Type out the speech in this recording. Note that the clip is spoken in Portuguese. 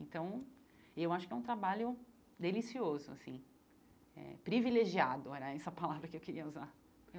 Então, eu acho que é um trabalho delicioso assim eh, privilegiado, era essa palavra que eu queria usar.